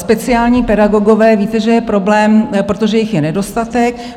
Speciální pedagogové - víte, že je problém, protože jich je nedostatek.